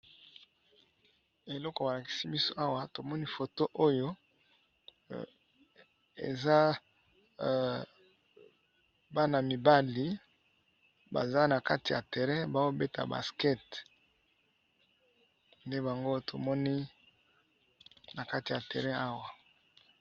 Eloko balakisi biso awa tomoni photo oyo eza Bana mibali baza nakati ya terrain bazo beta basket ndebango tomoni nakati ya terrain oyo.